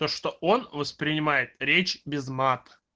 то что он воспринимает речь без мат